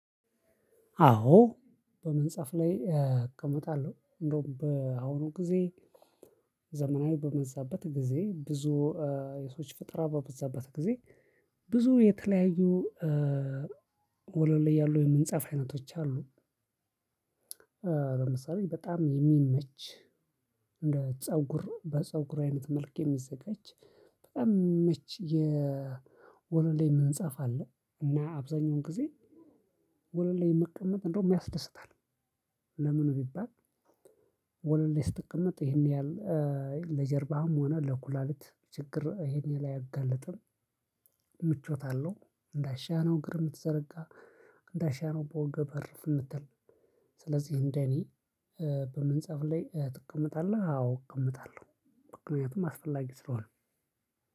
አዎ። በመንጻፍ ላይ እቀመጣለሁ እንደውም በአሁኑ ጊዜ። ዘመናዊ በመዛበት ጊዜ ብዙ የሰዎች ፍጥራ በበዛበት ጊዜ። ብዙ የተለያዩ ወለል ያሉ የምንጽፍ አይነቶች አሉ። በምሳሌ በጣም የሚመች እንደ ፀጉር በፀጉር አይነት መልክ የሚዘጋጅ በጣም መቼ የወለል ላይ ምንጻፍ አለ? እና አብዛኛውን ጊዜ ወለል መቀመጥ እንደውም ያስደስታል። ለምን ቢባል። ወለል ላይ ስትቀመጥ ይሄን ያህል ለጀርባህም ሆነ ለኩላሊት ችግር ይሄን ላይ አያጋልጥም። ምቾት አለው። እንዳሻህ ነው እግር ምትዘረጋ። እንዳሻህ ነው በወገብ እርፍ ምትል። ስለዚህ እንደኔ በምንጻፍ ላይ ትቀመጣለህ አዎ እቀመጣለሁ። ምክንያቱም አስፈላጊ ስለሆነ።